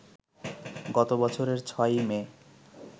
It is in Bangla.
গত বছরের ৬ই মে